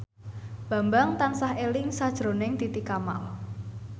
Bambang tansah eling sakjroning Titi Kamal